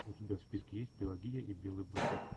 у тебя в списке есть пелагия и белый бульдог